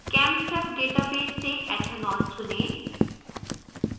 chemsep database से ethanol चुनें